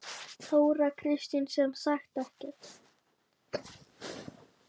Þóra Kristín: Sem sagt ekki?